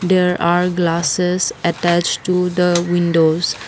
there are glasses attached to the windows.